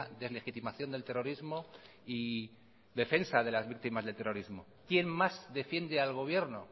deslegitimación del terrorismo y defensa de las víctimas del terrorismo quien más defiende al gobierno